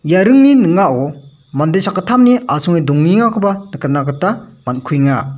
ia ringni ning·ao mande sakgittamni asonge dongengakoba nikatna gita man·kuenga.